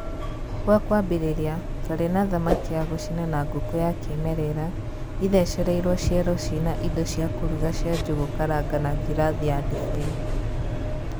Gwa kũambĩrĩria twarĩ na thamaki ya gũcina na ngũkũ ya kĩmerera ĩthecereirwo ciero cina indo cia kũruga cia njũgũ karanga na girathi ya ndibei.